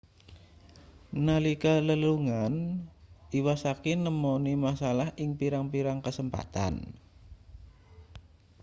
nalika lelungan iwasaki nemoni masalah ing pirang-pirang kasempatan